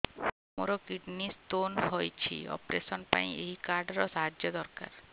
ମୋର kidney stone ହଇଛି operation ପାଇଁ ଏହି କାର୍ଡ ର ସାହାଯ୍ୟ ଦରକାର